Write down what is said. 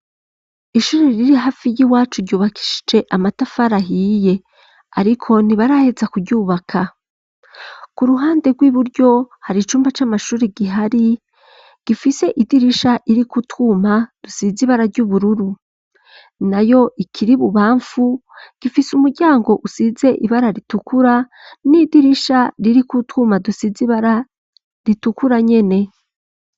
Ishuri riri hafi y'iwacu ryubakishije amatafari ahiye, ariko ntibaraheza kuryubaka. Ku ruhande rw'iburyo hari icumba c'amashuri kihari gifise idirisha ririko utwuma dusize ibara ry'ubururu. Nayo ikiri bubamfu, gifise umuryango usize ibara ritukura n'idirisha ririko utwuma dusize ibara ritukura nyene.